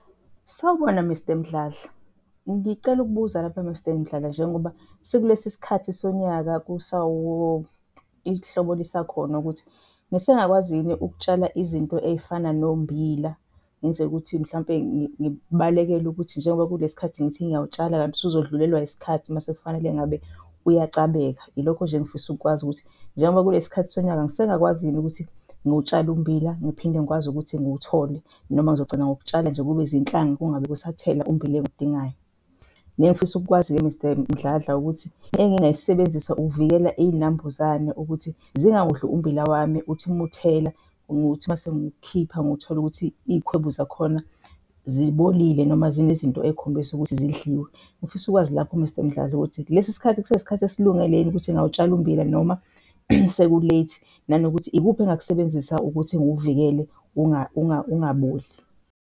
Sawubona, Mr Mdladla. Ngicela ukubuza lapha Mr Mdladla, njengoba sikulesi sikhathi sonyaka ihlobo lisakhona ukuthi ngisengakwazi yini ukutshala izinto ey'fana nommbila? Ngenzela ukuthi mhlampe ngibalekele ukuthi njengoba kuyile sikhathi ngithi ngiyawutshala kanti usuzodlulelwa isikhathi mase kufanele ngabe uyacabeka. Yilokho nje engifisa ukukwazi ukuthi njengoba kuyile sikhathi sonyaka ngisengakwazi yini ukuthi ngiwutshale ummbila ngiphinde ngikwazi ukuthi ngiwuthole, noma ngizogcina ngokutshala nje kube zinhlanga kungabe kusathela ummbila engiwudingayo. Nengifisa ukukwazi-ke Mr Mdladla ukuthi engingayisebenzisa ukuvikela inambuzane ukuthi zingawudli ummbila wami, uthi muthela nokuthi masengiwukhipha ngiwuthole ukuthi izikhwebu zakhona zibolile noma zinezinto ey'khombisa ukuthi zidliwe. Ngifisa ukwazi lapho Mr Mdladla ukuthi lesi sikhathi kuseyisikhathi esilungele yini ukuthi ngingawutshala ummbila noma seku-late? Nanokuthi ikuphi engingakusebenzisa ukuthi ngiwuvikele ungaboli?